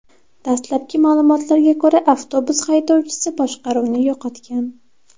Dastlabki ma’lumotlarga ko‘ra, avtobus haydovchisi boshqaruvni yo‘qotgan.